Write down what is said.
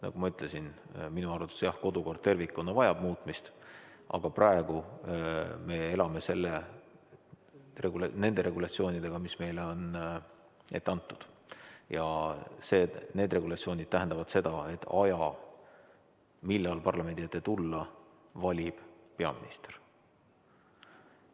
Nagu ma ütlesin, minu arvates jah, kodukord tervikuna vajab muutmist, aga praegu me elame nende regulatsioonidega, mis meile on ette antud, ja need regulatsioonid tähendavad seda, et aja, millal parlamendi ette tulla, valib peaminister.